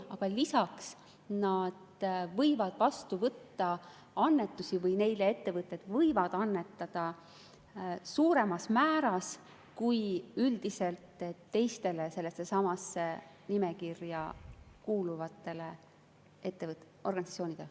Aga lisaks nad võivad vastu võtta annetusi ehk neile ettevõtted võivad annetada suuremas määras kui üldiselt teistele sellessesamasse nimekirja kuuluvatele ettevõtele-organisatsioonidele.